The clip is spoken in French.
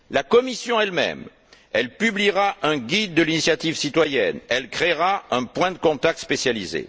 La Commission elle même publiera un guide de l'initiative citoyenne et créera un point de contact spécialisé.